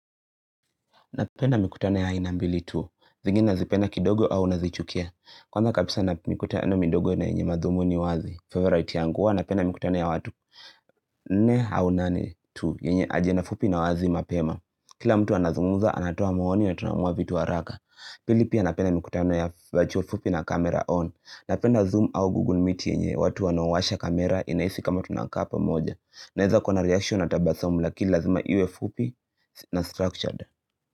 Napenda mikutano ya aina mbili tu. Zingine nazipenda kidogo au nazichukia. Kwanza kabisa na mikutano mindogo ina yenye madhumuni wazi. Favorite yangu huwa napenda mikutano ya watu. Ne haunani tu. Yenye agenda fupi na wazi mapema. Kila mtu anazungumza anatoa maoni na tunaamua vitu wa haraka. Pili pia napenda mikutano ya virtual fupi na camera on. Napenda zoom au google meet yenye watu wanawasha camera inahisi kama tunakaa pamoja. Naeza kuwa na reaction na tabasamu lakini lazima iwe fupi na structured.